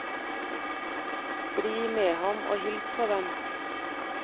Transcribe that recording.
Bli med ham og hils på dem.